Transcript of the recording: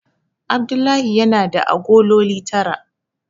Abdullahi yana da agololi tara.